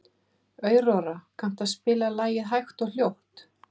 Aurora, kanntu að spila lagið „Hægt og hljótt“?